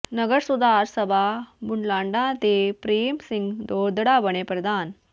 ਨਗਰ ਸੁਧਾਰ ਸਭਾ ਬੁਢਲਾਡਾ ਦੇ ਪਰੇਮ ਸਿੰਘ ਦੋਦੜਾ ਬਣੇ ਪ੍ਰਧਾਨ